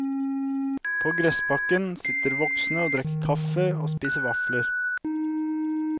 På gressbakken sitter voksne og drikker kaffe og spiser vafler.